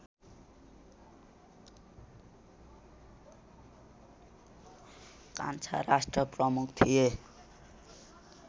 कान्छा राष्ट्रप्रमुख थिए